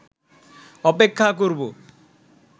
অপেক্ষা করবো